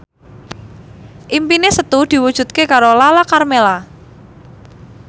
impine Setu diwujudke karo Lala Karmela